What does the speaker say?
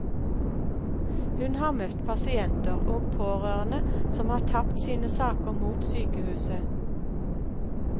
Hun har møtt pasienter og pårørende som har tapt sine saker mot sykehuset.